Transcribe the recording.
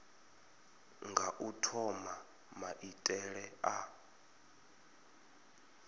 nga u thoma maitele a